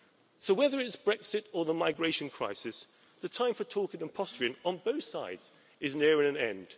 So whether it's Brexit or the migration crisis, the time for talking and posturing on both sides is nearing an end.